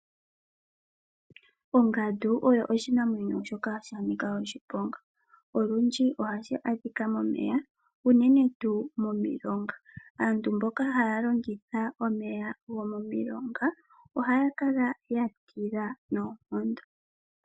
Ongandu oyo oshinamwenyo shoka sha nika oshiponga, olundji ohashi adhika momeya unene tuu mo milonga. Aantu mboka haya longitha omeya go momilonga ohaya kala ya tila noonkondo.